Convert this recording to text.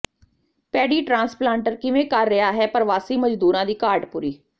paddy transplanter ਕਿਵੇਂ ਕਰ ਰਿਹਾ ਹੈ ਪਰਵਾਸੀ ਮਜ਼ਦੂਰਾਂ ਦੀ ਘਾਟ ਪੂਰੀ